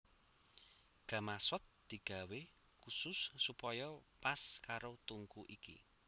Gamasot digawé khusus supaya pas karo tungku iki